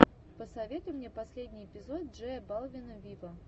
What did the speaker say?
посоветуй мне последний эпизод джея балвина виво